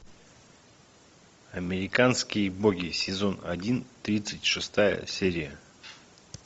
американские боги сезон один тридцать шестая серия